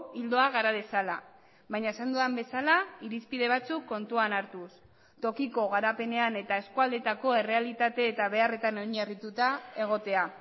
ildoa gara dezala baina esan dudan bezala irizpide batzuk kontuan hartuz tokiko garapenean eta eskualdetako errealitate eta beharretan oinarrituta egotea